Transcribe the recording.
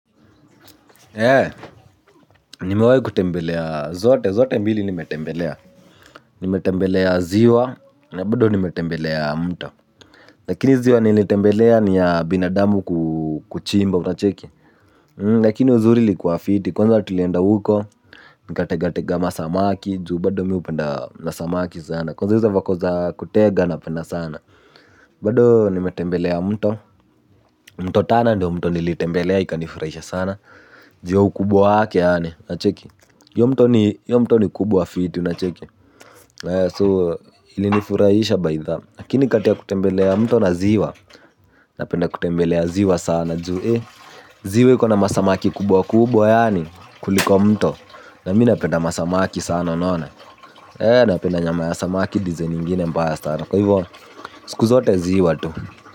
Ee niwaikutembelea zote zote mbili nimetembelea, nimetembelea ziwa na bado nimetembelea mto lakini ziwa nilitembelea ni ya binadamu kuchimba unacheki lakini uzuri lilikuwa fiti kwanza tulienda huko nikategatega masamaki juu bado mimi hupenda na samaki sana kwanza hizo vako za kutega napenda sana bado nimetembelea mto mto Tana ndio mto nilitembelea ikanifurahisha sana. Juu ya ukubwa wake yaani hiyo mto ni kubwa fiti So ilinifurahisha baitha. Lakini kati ya kutembelea mto na ziwa napenda kutembelea ziwa sana. Ziwe iko na masamaki kubwa kubwa yaani kuliko mto na mimi napenda masamaki sana unaona. Napenda nyama ya samaki "design" ingine mbaya sana. Siku zote ziwa tu.